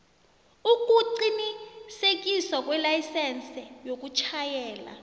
ukuqinisekiswa kwelayisense yokutjhayela